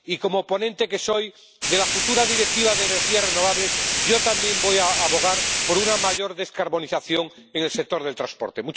Y, como ponente que soy de la futura Directiva de energías renovables, yo también voy a abogar por una mayor descarbonización en el sector del transporte.